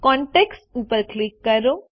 contacts ઉપર click કરો